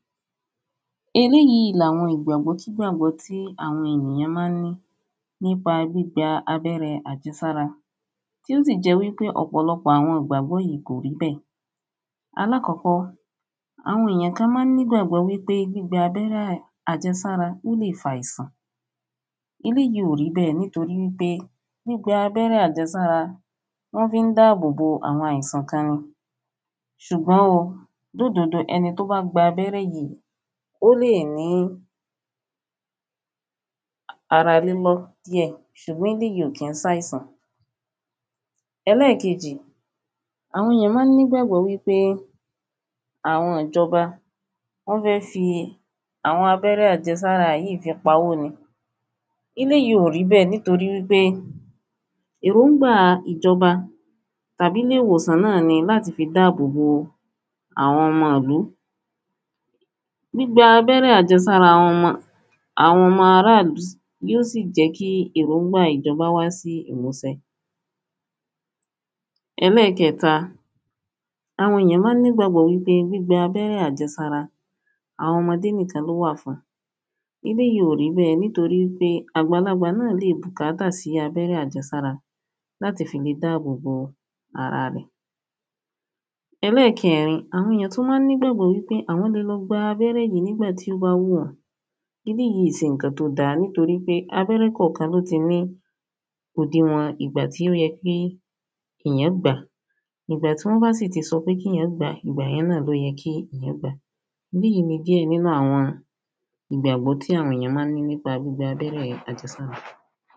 eléyìí ni àwọn ìgbàgbọ́kígbàgbọ́ tí àwọn ènìyán mán ní nípa gbígba abẹ́rẹ àjẹsára, tí ó sì jẹ́ wípé ọ̀pọ̀lọpọ̀ àwọn ìgbàgbọ yìí kò rí bẹ́ẹ̀. alákọ́kọ́, àwọn èyàn kán ma ń nígbàgbọ́ wípé gbígba abẹ́rẹ́ àjẹsára ó lè fàìsàn, eléyìí ò rí bẹ́ẹ̀ nítorí wípé gbígba abẹ́rẹ́ àjẹsára, wọ́n fín dáàbò bo àwọn àìsàn kan ni. ṣùgbọ́n o lódodo, ẹni tó bá gba abẹ́rẹ́ yíi, ó lè ní ara lílọ́ díẹ̀, ṣùgbọ́n eléyìí ò kín ṣàìsàn. ẹlẹ́kejì, àwọn èyán ma ń nígbàgbọ́ wípé àwọn ìjọba wọ́n fẹ́ fi àwọn abẹ́rẹ́ àjẹsára yíi fi pa owó ni. eléyìí ò rí bẹ́ẹ̀ nítorí wípé èróúngbàa ìjọba tàbílé ìwòsàn náà ni láti fí dáàbò bo àwọn ọmọ ìlú. gbígba abẹ́rẹ́ àjẹsára àwọn ọmọ, àwọn ọmọ ará ìlú yíó sì jẹ́ kí èróúngbàa ìjọba wá sí ìmúsẹ. ẹlẹ́kẹta, àwọn èyán ma ń nígbàgbọ́ wípé gbígba abẹ́rẹ́ àjẹsára àwọn ọmọdé níkan ló wà fún. eléyìí ò rí bẹ́ẹ̀ nítorí ípé àgbàlagbà náà lè bùkátà sí abẹ́rẹ́ àjẹsára láti fi le dáàbò bo ara rẹ̀. ẹlẹ́kẹẹ̀rin, àwọn èyán tún mán nígbàgbọ́ wípé àwọ́n le lọ́ gba abẹ́rẹ́ yìí nígbàtí ó ba wù wọ́n, eléyìí ìí ṣe ǹkan tó da nítorí pé abẹ́rẹ́ kànkan ló ti ní òdiwọ̀n ìgbà tó yẹ kí ìyán gbàá. ìgbà tí wọ́n bá sì ti sọpe kíyàn gbàá, ìgbà yẹn náà ló yẹ kí ìyán gbàá. eléyìí ni díẹ̀ nínú àwọn ìgbàgbọ́ tí àwọn èyán ma ń ní nípa gbígba abẹ́rẹ́ àjẹsára.